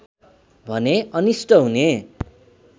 भने अनिष्ट हुने